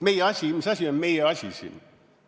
Mis asi on meie asi siin?